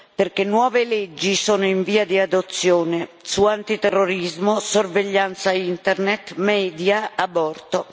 perché nuove leggi sono in via di adozione, su antiterrorismo, sorveglianza Internet, media, aborto.